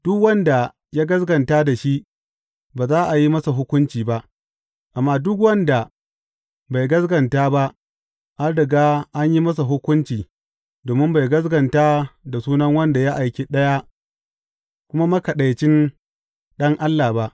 Duk wanda ya gaskata da shi ba za a yi masa hukunci ba, amma duk wanda bai gaskata ba an riga an yi masa hukunci domin bai gaskata da sunan wanda yake Ɗaya kuma Makaɗaicin Ɗan Allah ba.